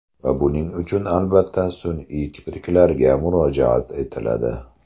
Va buning uchun, albatta, sun’iy kipriklarga murojaat etiladi.